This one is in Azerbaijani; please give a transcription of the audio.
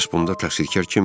Bəs bunda təqsirkar kim idi?